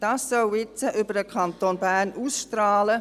Dies soll jetzt über den Kanton Bern hinaus ausstrahlen.